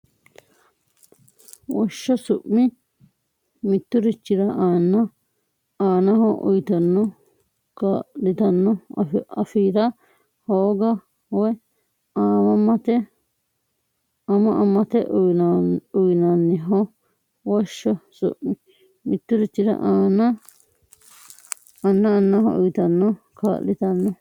Woshsho su mi mitturichira anna annaho uyitanno kaa litanno afi ra hooga woy ama amate uynanniho Woshsho su mi mitturichira anna annaho uyitanno kaa litanno.